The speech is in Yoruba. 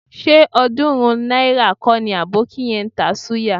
Ṣé ọ̀ọ́dúnrún náírà kọ́ ni àbókí yẹn ń ta súyà?